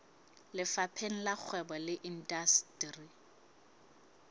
lefapheng la kgwebo le indasteri